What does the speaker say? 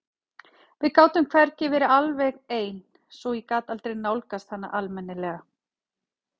Við gátum hvergi verið alveg ein svo ég gat aldrei nálgast hana almennilega.